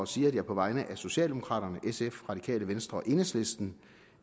sige at jeg på vegne af socialdemokraterne sf radikale venstre og enhedslisten